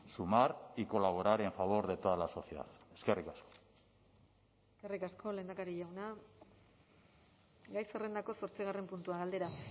sumar y colaborar en favor de toda la sociedad eskerrik asko eskerrik asko lehendakari jauna gai zerrendako zortzigarren puntua galdera